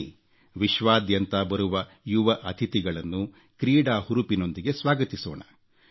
ಬನ್ನಿ ವಿಶ್ವಾದ್ಯಂತ ಬರುವ ಯುವ ಅತಿಥಿಗಳನ್ನು ಕ್ರೀಡಾ ಹುರುಪಿನೊಂದಿಗೆ ಸ್ವಾಗತಿಸೋಣ